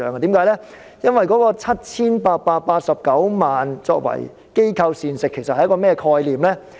其實 7,889 萬元用作機構膳食是甚麼概念呢？